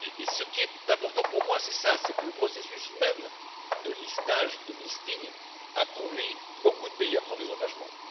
Ce qui est important pour moi, c'est cela, c'est que le processus même de listage, de listing a conduit beaucoup de pays à prendre des engagements.